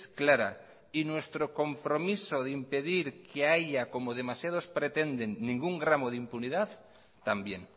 clara y nuestro compromiso de impedir que haya como demasiados pretenden ningún gramo de impunidad también